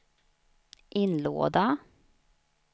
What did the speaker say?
inlåda